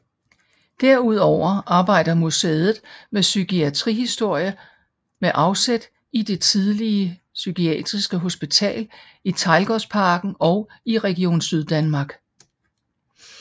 Derudover arbejder museet med psykiatrihistorie med afsæt i det tidligere psykiatriske hospital i Teglgårdsparken og i Region Syddanmark